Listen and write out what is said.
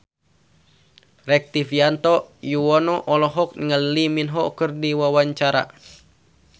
Rektivianto Yoewono olohok ningali Lee Min Ho keur diwawancara